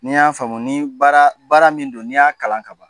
N'i y'a famu ni baara baara min do n'i y'a kalan kaban